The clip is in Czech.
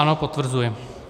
Ano, potvrzuji.